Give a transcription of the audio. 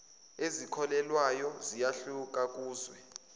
ezikhokhelwayo ziyahluka kuzwe